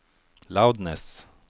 loudness